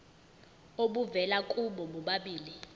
obuvela kubo bobabili